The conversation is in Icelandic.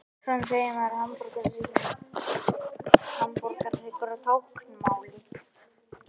Svona segir maður hamborgarhryggur á táknmáli.